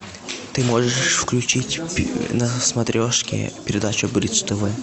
ты можешь включить на смотрешке передачу бридж тв